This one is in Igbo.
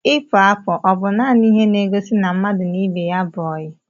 Ipu apụ ọ bu nanị ihe n'egosi na mmadụ na ibe ya bú oyi?